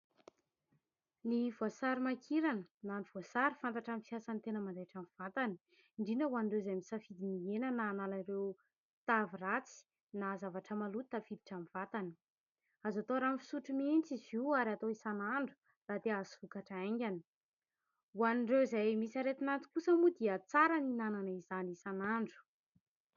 Ny voasary mankirana na ny voasary fantatra amin'ny fiasan'ny tena mandaitra ny vatany, indrindra ho an'ireo izay misafidy ny ihena na hanalana ireo tavy ratsy na zavatra maloto tafiditra amin'ny vatany ; azo atao rano fisotro mihitsy izy io ary atao isanandro raha te hahazo vokatra haingana ho an'ireo izay misy aretin'aty kosa moa dia tsara ny hihinanana izany isanandro.